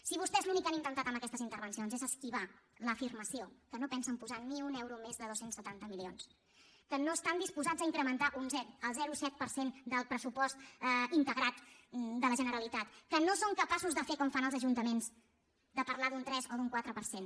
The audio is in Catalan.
si vostès l’únic que han intentat amb aquestes intervencions és esquivar l’afirmació que no pensen posar ni un euro més de dos cents i setanta milions que no estan disposats a incrementar el zero coma set per cent del pressupost integrat de la generalitat que no són capaços de fer com fan els ajuntaments de parlar d’un tres o d’un quatre per cent